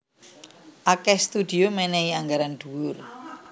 Akèh studio mènèhi anggaran dhuwur